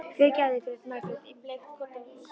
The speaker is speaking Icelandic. Fyrirgefðu, grét Margrét í bleikt koddaverið.